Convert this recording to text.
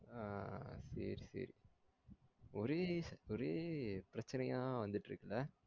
ஆஹ் சேரி சேரி ஒரே ஒரே பிரச்சனையா வந்திட்டு இருக்குல